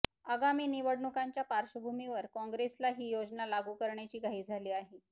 आगामी निवडणुकांच्या पार्श्वभूमीवर काँग्रेसला ही योजना लागू करण्याची घाई झाली आहे